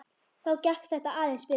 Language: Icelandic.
Þá gekk þetta aðeins betur.